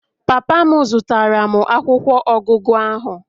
Papa m zụtara m akwụkwọ ọgụgụ ahụ